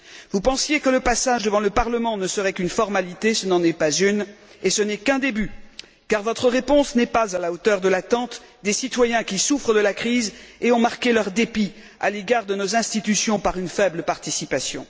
Vous pensiez que le passage devant le Parlement ne serait qu'une formalité ce n'en est pas une, et ce n'est qu'un début, car votre réponse n'est pas à la hauteur de l'attente des citoyens qui souffrent de la crise et ont marqué leur dépit à l'égard de nos institutions par une faible participation.